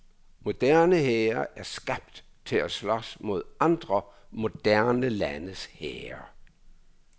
Moderne hære er skabt til at slås mod andre moderne landes hære.